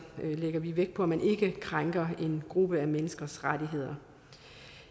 lægger vi vægt på at man ikke krænker en gruppe menneskers rettigheder